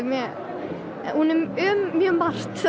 hún er um mjög margt